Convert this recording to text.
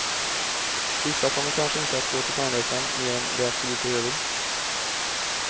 Vissa kommer kanske inte att gå till tandläkaren mer än de absolut behöver.